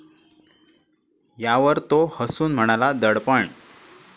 यावर तो हसून म्हणाला, दडपण?